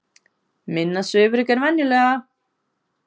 Minna svifryk en venjulega